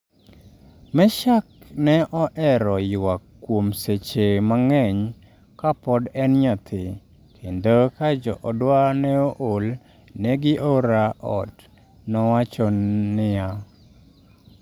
""Meshack ne ohero ywak kuom seche mang'eny ka pod en nyathi, kendo ka joodwa ne ool ne giora ot," nowacho niya.